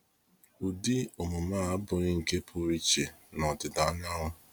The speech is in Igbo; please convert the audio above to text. Ụdị omume a abụghị nke pụrụ iche na Ọdịda anyanwụ.